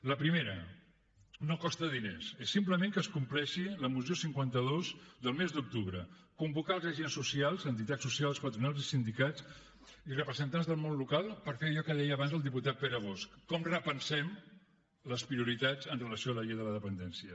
la primera no costa diners és simplement que es compleixi la moció cinquanta dos del mes d’octubre convocar els agents socials entitats socials patronals i sindicats i representants del món local per fer allò que deia abans el diputat pere bosch com repensem les prioritats amb relació a la llei de la dependència